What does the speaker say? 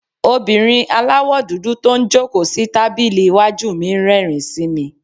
obìnrín àláwọ dúdú to n jọ̀kó si tabili iwájú mí n rérìn sí me